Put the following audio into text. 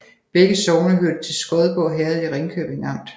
Begge sogne hørte til Skodborg Herred i Ringkøbing Amt